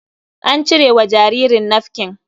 An cire wa jaririn nafkin.